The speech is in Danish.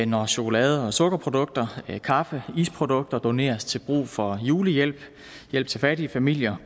når chokolade og sukkerprodukter kaffe isprodukter doneres til brug for julehjælp hjælp til fattige familier